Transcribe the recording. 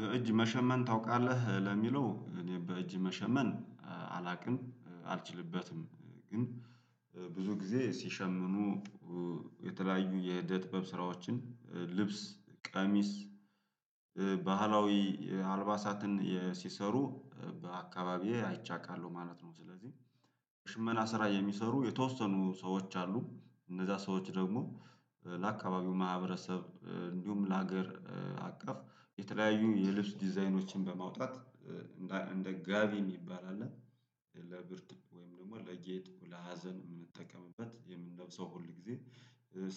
በእጅ መሸመን ታውቃለህ ለሚለው እኔ በእጅ መሸመን አላውቅም አልችልበትም ግን ብዙ ጊዜ ሲሸምኑ የተለያዩ የዕደጥበብ ስራዎችን ልብስ፣ ቀሚስ ባህላዊ አልባሳትን ሲሰሩ በአካባቢዬ አይቸ አቃለሁ ማለት ነው ስለዚህ ሽመና ስራ የሚሰሩ የተወሰኑ ሰዎች አሉ፤ እነዛ ሰዎች ደግሞ ለአካባቢው ማህበረሰብ እንዲሁም ለሀገር አቀፍ የተለያዩ የልብስ ዲዛይኖችን በማውጣት እንደ ጋቢ የሚባል አለ ለብርድ ወይም ደግሞ ለጌጥ ለሀዘን የምንጠቀምበት የምንለብሰው ሁል ጊዜ